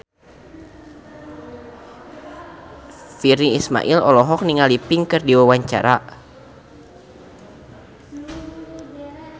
Virnie Ismail olohok ningali Pink keur diwawancara